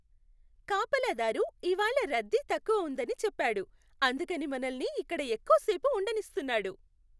కాపలాదారు ఇవాళ్ళ రద్దీ తక్కువ ఉందని చెప్పాడు. అందుకని మనల్ని ఇక్కడ ఎక్కువసేపు ఉండనిస్తున్నాడు.